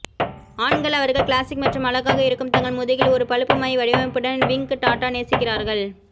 ஆண்கள் அவர்கள் கிளாசிக் மற்றும் அழகாக இருக்கும் தங்கள் முதுகில் ஒரு பழுப்பு மை வடிவமைப்புடன் விங் டாட்டா நேசிக்கிறார்கள்